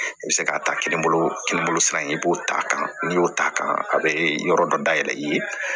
I bɛ se k'a ta kini bolo kelen bolo sira in i b'o t'a kan n'i y'o ta a bɛ yɔrɔ dɔ dayɛlɛ i ye